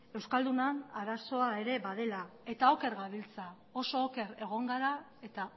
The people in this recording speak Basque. euskaldunon arazoa badela ere eta oker gabiltza oso oker egon gara eta